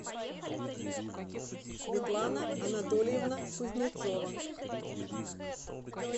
светлана анатольевна кузнецова